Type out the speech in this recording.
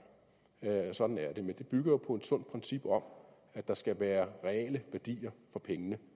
sådan er det men det bygger jo på et sundt princip om at der skal være reale værdier for pengene